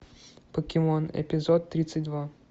покемон эпизод тридцать два